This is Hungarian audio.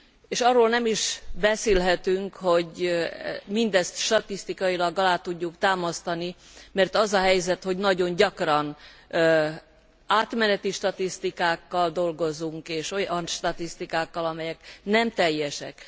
És arról nem is beszélhetünk, hogy mindezt statisztikailag alá tudjuk támasztani, mert az a helyzet, hogy nagyon gyakran átmeneti statisztikákkal dolgozunk, és olyan statisztikákkal, amelyek nem teljesek.